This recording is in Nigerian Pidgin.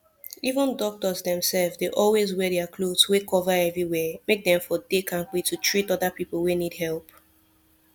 even doctors themself dey always wear their cloth wey cover everywhere make dem for dey kampe to treat other people wey need help